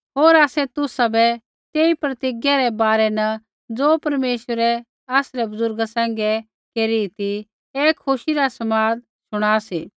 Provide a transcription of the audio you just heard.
होर आसै तुसाबै तेई प्रतिज्ञा रै बारै न ज़ो परमेश्वरै आसरै बुज़ुर्गा सैंघै केरू ती ऐ खुशी रा समाद शुणा सी